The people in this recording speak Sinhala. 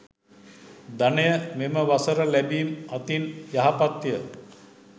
ධනය මෙම වසර ලැබීම් අතින් යහපත්ය.